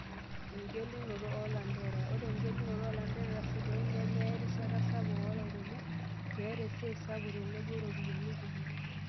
Engelunoto oo lanterera:Ore engelunoto oo lanterera sidain nemeya erishata sapuk oo lairemok, meeta esiai sapuk tenebo ropiyiani kumok.